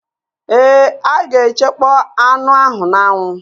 Ee, a ga-echekpọ anụ ahụ n'anwụ